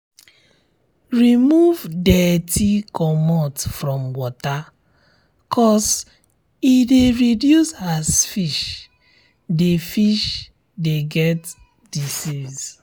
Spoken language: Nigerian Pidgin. remove dirty comot from water cos e de reduce as fish de fish de get disease